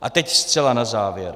A teď zcela na závěr.